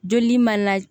Joli mana